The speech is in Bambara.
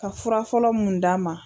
Ka furafɔlɔ mun d'a ma.